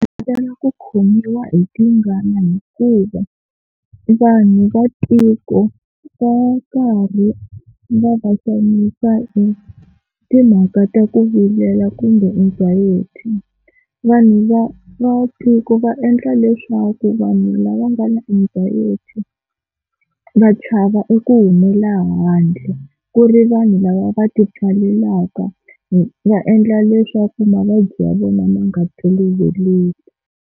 ku khomiwa hi tingana hikuva vanhu va tiko va karhi va va xanisa hi timhaka ta ku vilela kumbe anxienty. Vanhu va va tiko va endla leswaku vanhu lava nga na anxiety va chava eku humela handle ku ri vanhu lava va ti pfalelaka va endla leswaku mavabyi ya vona ma nga toloveleki.